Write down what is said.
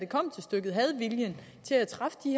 kom til stykket havde viljen til at træffe de